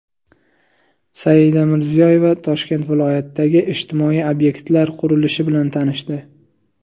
Saida Mirziyoyeva Toshkent viloyatidagi ijtimoiy obyektlar qurilishi bilan tanishdi .